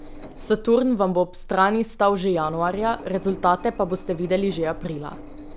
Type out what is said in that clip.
Saturn vam bo ob strani stal že januarja, rezultate pa boste videli že aprila.